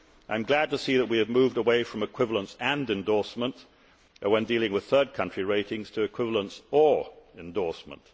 I am glad to see that we have moved away from equivalence and endorsement, when dealing with third country ratings, to equivalence or endorsement.